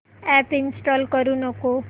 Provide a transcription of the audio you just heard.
app install करू नको